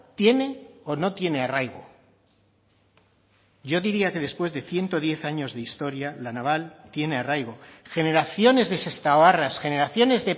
tiene o no tiene arraigo yo diría que después de ciento diez años de historia la naval tiene arraigo generaciones de sestaoarras generaciones